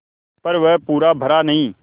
पर वह पूरा भरा नहीं